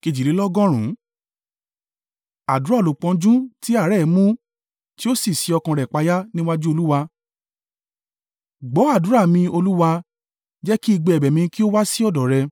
Àdúrà olùpọ́njú tí àárẹ̀ mú, tí ó sí ọkàn rẹ̀ payá níwájú Olúwa. Gbọ́ àdúrà mi, Olúwa, jẹ́ kí igbe ẹ̀bẹ̀ mi kí ó wá sí ọ̀dọ̀ rẹ.